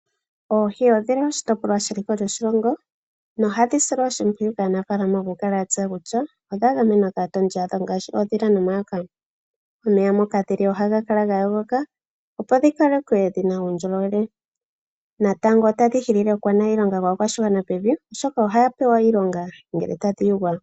Oohi odhi li oshitopolwa sheliko lyoshilongo nohadhi silwa oshimpwiyu kaanafalama okukala ya tseya kutya odha gamenwa kaatondi yadho, ngaashi oodhila nomayoka. Omeya moka dhi li ohaga kala ga yogoka opo dhi kalekwe dhina uundjolowele. Natango otadhi hili okwaanayilonga waakwashigwana pevi oshoka ohaya pewa iilonga ngele tadhi yugwa.